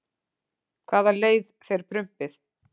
hvaða leið fer prumpið